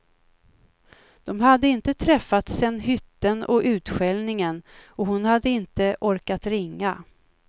De hade inte träffats sedan hytten och utskällningen, och hon hade inte orkat ringa.